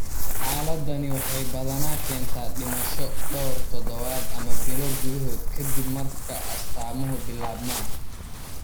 Xaaladdani waxay badanaa keentaa dhimasho dhowr toddobaad ama bilo gudahood ka dib marka astaamuhu bilaabmaan.